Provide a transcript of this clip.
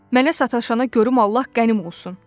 Mənə sataşana görüm Allah qənim olsun.